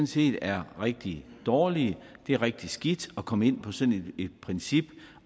set er rigtig dårlige det er rigtig skidt at komme ind på sådan et princip